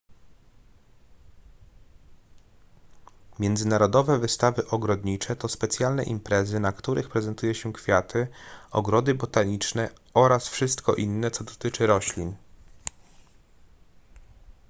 międzynarodowe wystawy ogrodnicze to specjalne imprezy na których prezentuje się kwiaty ogrody botaniczne oraz wszystko inne co dotyczy roślin